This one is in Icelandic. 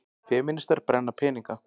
Femínistar brenna peninga